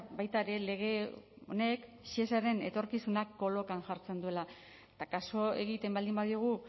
baita ere lege honek shesaren etorkizuna kolokan jartzen duela eta kasu egiten baldin badiogu